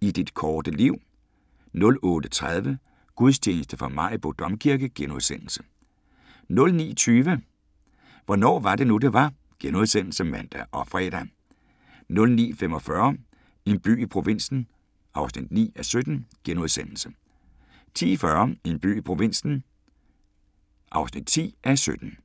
I dit korte liv 08:30: Gudstjeneste fra Maribo Domkirke * 09:20: Hvornår var det nu, det var? *(man og fre) 09:45: En by i provinsen (9:17)* 10:40: En by i provinsen (10:17)